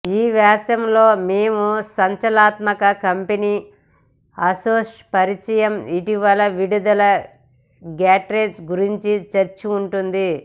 ఈ వ్యాసం లో మేము సంచలనాత్మక కంపెనీ ఆసుస్ పరిచయం ఇటీవల విడుదల గాడ్జెట్ గురించి చర్చ ఉంటుంది